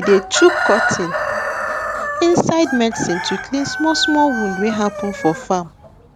we dey chook cotton inside medicine to clean small small wound wey happen for farm